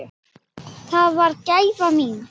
Það varð gæfa mín.